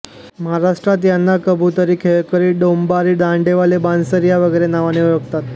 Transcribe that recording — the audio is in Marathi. महाराष्ट्रात यांना कबुतरी खेळकरी डोंबारी दांडेवाले बांसबेरिया वगैरे नावांनी ओळखतात